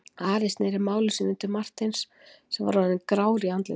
Ari sneri máli sínu til Marteins sem orðinn var grár í andliti.